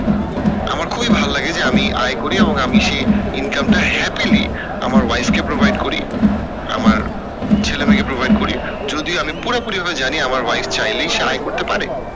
আমার খুবই ভাল্লাগে যে আমি আয় করি এবং আমি সেই income টা happily আমার wife কে provide করি আমার ছেলে মেয়েকে provide করি যদিও আমি পুরোপুরি ভাবে জানি আমার wife চাইলেই সে আয় করেত পারে